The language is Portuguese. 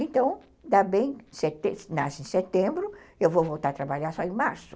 Então, nasce em setembro, eu vou voltar a trabalhar só em março.